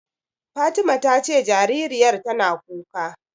Fatima ta ce jaririyar tana kuka.